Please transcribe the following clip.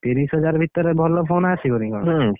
ତିରିଶିହଜାର ଭିତରେ, ଭଲ phone ଆସିବନି କଣ?